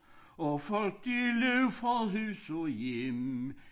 Og folk de løb fra hus og hjem